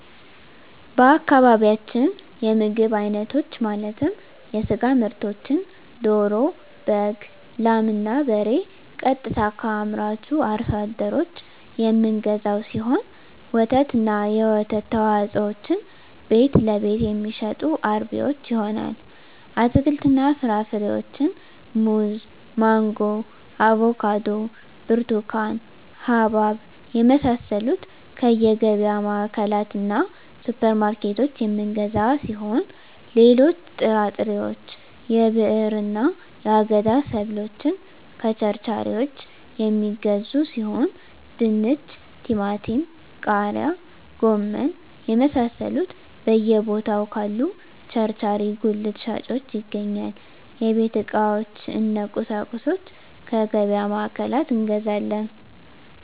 በአካባቢያችን የምግብ አይነቶች ማለትም የስጋ ምርቶችን ደሮ በግ ላም እና በሬ ቀጥታ ከአምራቹ አርሶ አደሮች የምንገዛው ሲሆን ወተትና የወተት ተዋፅኦዎችን ቤትለቤት የሚሸጡ አርቢዎች ይሆናል አትክልትና ፍራፍሬዎችን ሙዝ ማንጎ አቮካዶ ብርቱካን ሀባብ የመሳሰሉትከየገቢያ ማዕከላትእና ሱፐር ማርኬቶች የምንገዛ ሲሆን ሌሎች ጥራጥሬዎች የብዕርና የአገዳ ሰብሎችን ከቸርቻሪዎች የሚገዙ ሲሆን ድንች ቲማቲም ቃሪያ ጎመን የመሳሰሉት በየ ቦታው ካሉ ቸርቻሪ ጉልት ሻጮች ይገኛል የቤት ዕቃዎች እነ ቁሳቁሶች ከገቢያ ማዕከላት እንገዛለን